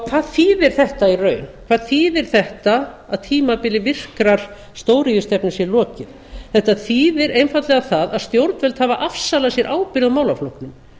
hvað þýðir þetta í raun hvað þýðir þetta að tímabili virkrar stóriðjustefnu sé lokið þetta þýðir einfaldlega það að stjórnvöld hafa afsalað sér ábyrgð á málaflokknum